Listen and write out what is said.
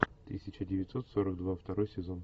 тысяча девятьсот сорок два второй сезон